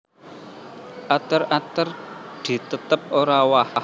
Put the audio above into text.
Ater ater di tetep ora owah